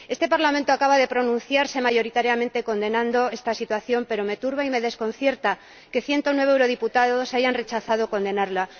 Este Parlamento acaba de pronunciarse mayoritariamente condenando esta situación, pero me turba y me desconcierta que 109 eurodiputados hayan rechazado condenarla.